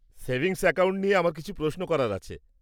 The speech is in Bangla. সেভিংস অ্যাকাউন্ট নিয়ে আমার কিছু প্রশ্ন করার আছে।